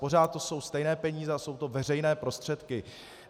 Pořád to jsou stejné peníze a jsou to veřejné prostředky.